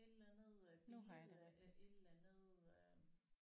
Et eller andet øh billede af et eller andet øh